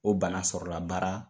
O bana sɔrɔla baara